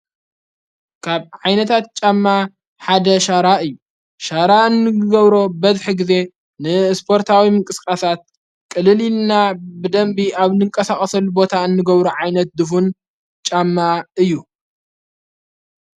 ካብ ዓይነታት ጫማ ሓደ ሻራ እዩ ሻራ እንገብሮ በድሒ ጊዜ ንእስጶርታዊም ቅስቃሳት ቅልልና ብደንቢ ኣብ ንንቀሳቐሰል ቦታ እንገብሮ ዓይነት ድፉን ጫማ እዩ።